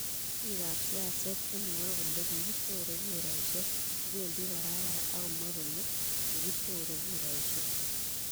biikap siaset chemwoe kole kigichore kuraishek kobendi Barbara agomwaa kole kigichore kuraishek